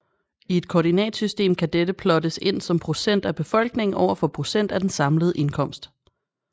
I et koordinatsystem kan dette plottes ind som procent af befolkningen overfor procent af den samlede indkomst